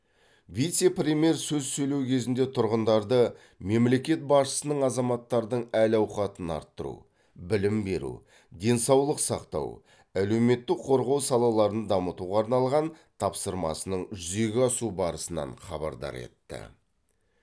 вице премьер сөз сөйлеу кезінде тұрғындарды мемлекет басшысының азаматтардың әл ауқатын арттыру білім беру денсаулық сақтау әлеуметтік қорғау салаларын дамытуға арналған тапсырмасының жүзеге асу барысынан хабардар етті